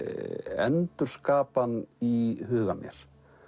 endurskapa hann í huga mér